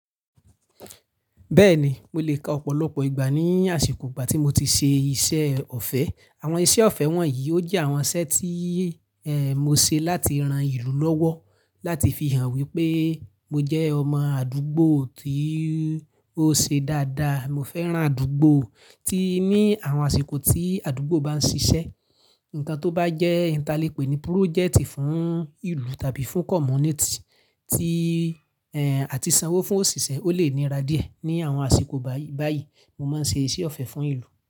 Bẹ́ẹ̀ni, mo lè ka ọ̀pọ̀lọpọ̀ ìgbà ní àsìkò ìgbà tí mo ti ṣe iṣẹ́ ọ̀fẹ́. Àwọn iṣẹ́ ọ̀fẹ́ wọ̀nyí ó jẹ́ àwọn iṣẹ́ tí, mo ṣe láti ran ìlú lọ́wọ́, láti fi hàn wípé mo jẹ́ ọmọ àdúgbò tí ó ṣe dáadáa. Mo fẹ́ran àdúgbò tí ní àwọn àsìkò tí àdúgbò bá ń ṣiṣẹ́. Ǹkan tó bá jẹ́ ìn ta lè pè ní púrójẹ̀tì fún ìlú tàbí fún kọ́muníítì tí, àti sanwó fún òṣìṣẹ́ ó lè níra díẹ̀. Ni àwọn àsìkò báyìí, mo máa ń ṣe iṣẹ́ ọ̀fẹ́ fún ìlú.